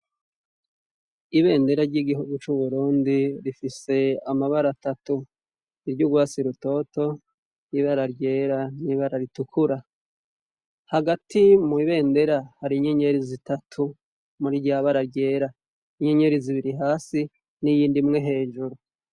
Ibendera ry'igihugu c'uburondi rifise amabara atatu iryo urwasi rutoto ibeararyera n'ibara ritukura hagati mw'ibendera hari inyenyeri zitatu muri ryabararyera inyenyeri zibiri hasi n'iyindimwe hejuru.